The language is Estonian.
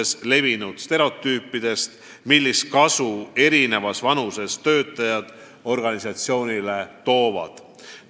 Selgitatakse, millist kasu erinevas vanuses töötajad organisatsioonile toovad.